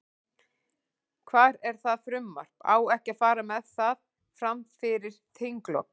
Hvar er það frumvarp, á ekki að fara með það, fram fyrir þinglok?